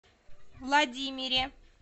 владимире